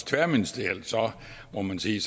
tværministerielt må man sige